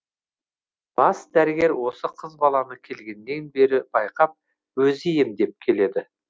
бас дәрігер осы қыз баланы келгеннен бері байқап өзі емдеп келеді